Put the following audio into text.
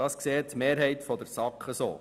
Dies sieht die Mehrheit der SAK so.